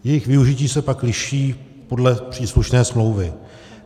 Jejich využití se pak liší podle příslušné smlouvy.